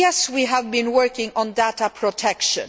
Yes, we have been working on data protection